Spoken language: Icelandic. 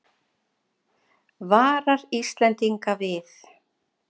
Varar Íslendinga við